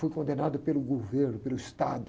Foi condenado pelo governo, pelo Estado.